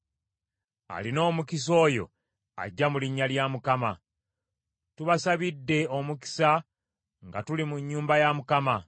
Alina omukisa oyo ajja mu linnya lya Mukama . Tubasabidde omukisa nga tuli mu nnyumba ya Mukama .